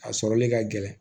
A sɔrɔli ka gɛlɛn